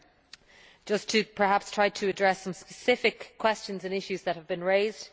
I will just try to address some specific questions and issues that have been raised.